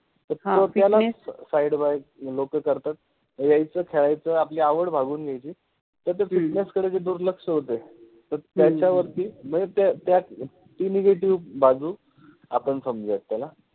ह fitness, तर यालाच लोक side by करतात, यायच, खेळायच, आपलि आवाड भागवुन घ्यायचि. सध्या fitness कडे जो दुर्लक्ष होतोय तर त्याच्यावरति मनजे त्या ति negative बाजु आपन समजुयात त्याला